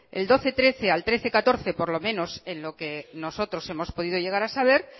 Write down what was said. el doce trece al trece catorce por lo menos en lo que nosotros hemos podido llegar a saber